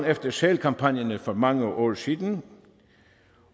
efter sælkampagnerne for mange år siden